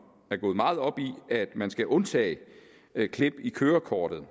er gået meget op i at man skal undtage klip i kørekortet